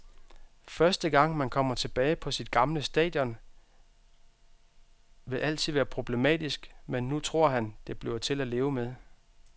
Første gang, man kommer tilbage på sit gamle stadion, vil altid være problematisk, men nu tror han, det bliver til at leve med.